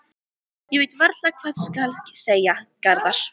Ég veit varla hvað skal segja, Garðar.